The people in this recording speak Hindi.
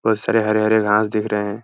बहुत सारे हरे-हरे घास दिख रहे हैं |